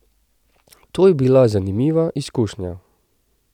To je bila zanimiva izkušnja.